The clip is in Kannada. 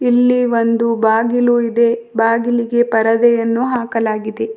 ಇಲ್ಲಿ ಒಂದು ಬಾಗಿಲು ಇದೆ ಬಾಗಿಲಿಗೆ ಪರದೆಯನ್ನು ಹಾಕಲಾಗಿದೆ.